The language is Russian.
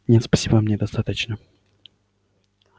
нет спасибо мне достаточно